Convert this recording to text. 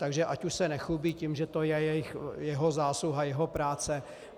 Takže ať už se nechlubí tím, že to je jeho zásluha, jeho práce.